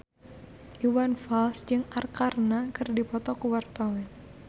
Iwan Fals jeung Arkarna keur dipoto ku wartawan